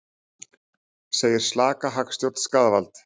Segir slaka hagstjórn skaðvald